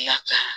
I y'a kan